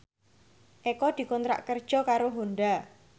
Eko dikontrak kerja karo Honda